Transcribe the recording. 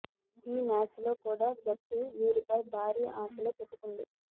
ఈ మ్యాచ్ లో కూడా జట్టు వీరిపై భారీ ఆశలే పెట్టుకుంది